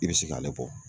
I bɛ se k'ale bɔ